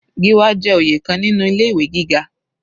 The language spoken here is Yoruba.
Gíwá jẹ́ oyè kan nínú ilé ìwé gíga.